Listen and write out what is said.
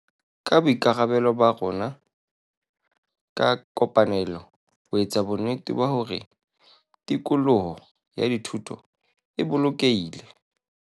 Ke boikarabelo ba rona ka kopanelo ho etsa bonnete ba hore tikoloho ya thuto e bolokehile.